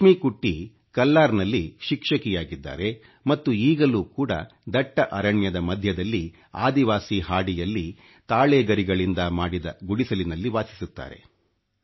ಲಕ್ಷ್ಮಿಕುಟ್ಟಿ ಕಲ್ಲಾರ್ ನಲ್ಲಿ ಶಿಕ್ಷಕಿಯಾಗಿದ್ದಾರೆ ಮತ್ತು ಈಗಲೂ ಕೂಡ ದಟ್ಟ ಅರಣ್ಯದ ಮಧ್ಯದಲ್ಲಿ ಆದಿವಾಸಿ ಹಾಡಿಯಲ್ಲಿ ತಾಳೆ ಗರಿಗಳಿಂದ ಮಾಡಿದ ಗುಡಿಸಲಿನಲ್ಲಿ ವಾಸಿಸುತ್ತಾರೆ